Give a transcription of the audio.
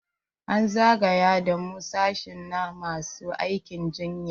An zagaya da mu sashi na masu aikin jinya.